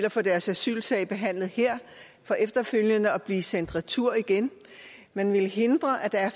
og få deres asylsag behandlet her for efterfølgende at blive sendt retur man ville hindre at der er